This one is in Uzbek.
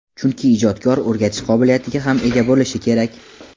Chunki ijodkor o‘rgatish qobiliyatiga ham ega bo‘lishi kerak.